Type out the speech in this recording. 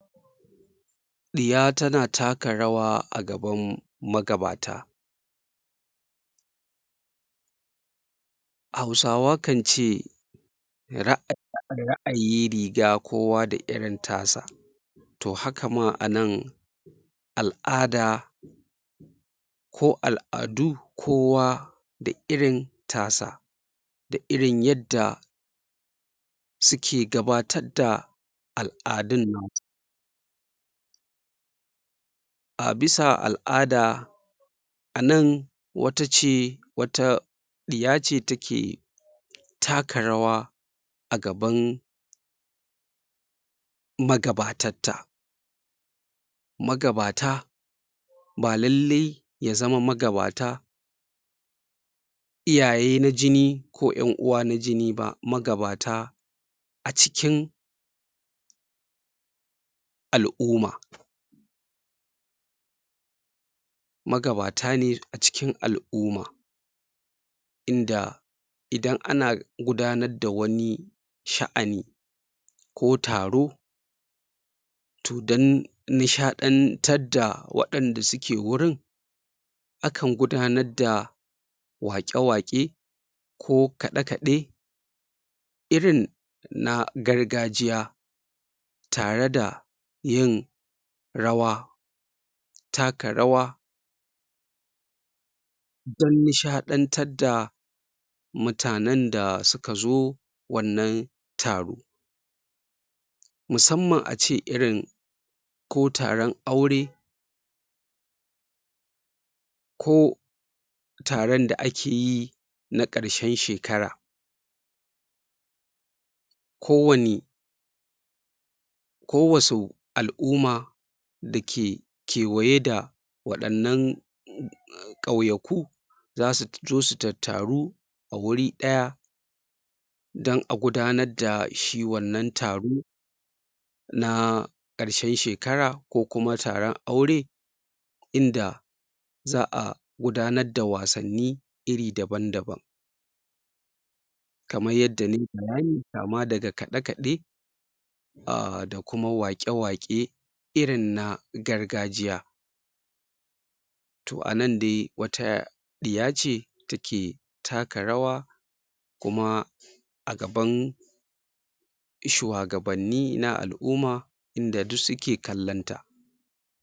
Iya tana taka rawa a gaban magabata Hausawa kance ra'ayin riga kowa da irin ta sa toh hakama a nan al'ada ko al'adu kowa da irin tasa da irin yadda suke gabatar da al'adun nan a bisa al'ada a nan wata ce wata iya ce take taka rawa a gaban magabatan ta magabata ba lalle ya zama magabata iyaye na jini ko yan uwa na jini ba, magabata acikin al'umma magabata ne acikin al'umma inda idan ana gudanar da wani sha'ani ko taro to dan nishadantan da wayanda suke wurun akan gudanar da waƙe-waƙe ko kaɗe-kaɗe irin na gargajiya tare da yin rawa taka rawa dan nishadantar da mutanen da suka zo wannan taro musamman ace irin ko taron aure ko ko taron da akeyi na karshen shekara ko wani ko wasu al'umma dake kewaye da wadannan ƙauyaku zasu zo su tattaru a wuri ɗaya dan a gudanar da shi wannan taro na karshen shekara ko kuma taron aure inda za'a gudanar da wasanni iri daban-daban kaman yadda nayi bayani kaman daga kaɗe-kaɗe ahh da kuma waƙe-waƙe irin na gargajiya toh anan de wata iya ce take taka rawa kuma a gaban shuwagabanni na al'umma inda duk suke kalan ta.